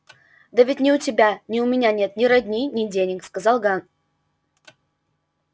да ведь ни у тебя ни у меня нет ни родни ни денег сказал ган